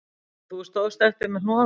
Og þú stóðst eftir með hnoðann